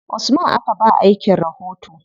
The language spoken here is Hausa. Usman aka ba wa aikin rahoto.